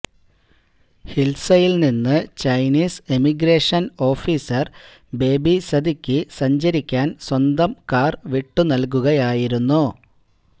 ഹിൽസയിൽനിന്ന് Chinese emigration officer ബേബിസതിക്ക് സഞ്ചരിക്കാൻ സ്വന്തം കാർ വിട്ടുനൽകുകയായിരുന്നു